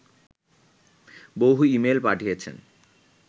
বহু ইমেইল পাঠিয়েছেন